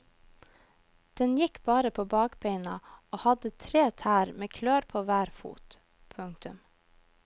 Den gikk bare på bakbeina og hadde tre tær med klør på hver fot. punktum